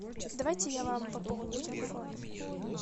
давайте я вам пополню телефон